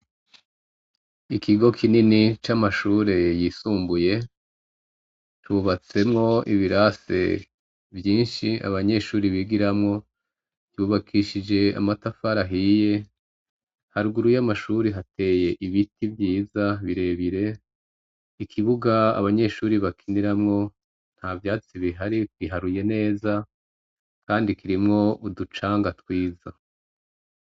Ikigo kinini c' amashure y isumbuye, cubatsemw' ibirase vyinsh'abanyeshure bigiramwo yubakishij' amatafar'ahiye, haruguru y' amashure hatey' ibiti vyiza birebire, ikibug' abanyeshure bakiniramwo ntavyatsi bihari, biharuye neza, kandi kirimw' uducanga twiza.